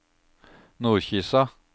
Nordkisa